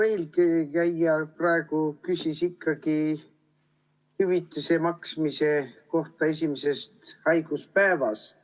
Eelkõneleja küsis esimesest haiguspäevast hüvitise maksmise kohta.